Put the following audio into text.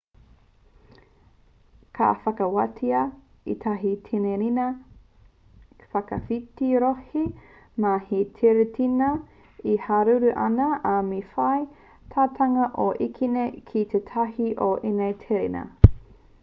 ka whakawātia ētahi tereina whakawhiti-rohe mā te tereina e haruru ana ā me whai tāutunga i tō ekenga ki tētahi o ēnei tereina